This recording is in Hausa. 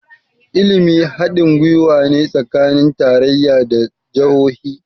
ilimi kuwa hadin gwiwa ne tsakanin tarayya da jahohi